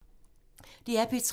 DR P3